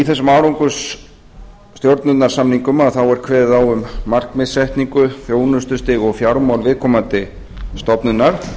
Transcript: í þessum árangursstjórnunarsamningum er kveðið á um markmiðssetningu þjónustustig og fjármál viðkomandi stofnunar